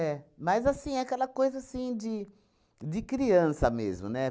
Mas, assim, aquela coisa assim de de criança mesmo, né?